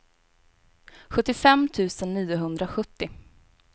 sjuttiofem tusen niohundrasjuttio